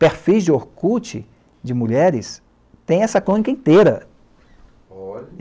Perfis de orkut de mulheres tem essa crônica inteira.